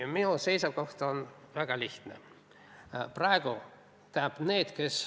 Minu seisukoht on väga lihtne.